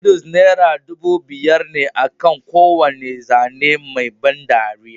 Noodles naira dubu biyar ne akan kowane zane mai ban dariya